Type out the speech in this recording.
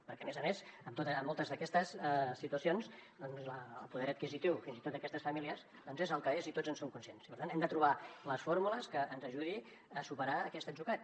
perquè a més a més en moltes d’aquestes situacions doncs el poder adquisitiu fins i tot d’aquestes famílies és el que és i tots en som conscients i per tant hem de trobar les fórmules que ens ajudin a superar aquest atzucac